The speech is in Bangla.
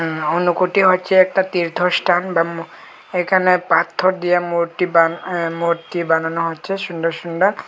উম অন্য কুটি হচ্ছে একটা তীর্থস্থান বাম এখানে পাথর দিয়া মূর্তি বান অ্যা মূর্তি বানানো হচ্ছে সুন্দর সুন্দর।